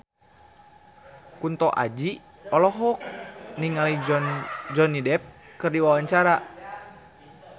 Kunto Aji olohok ningali Johnny Depp keur diwawancara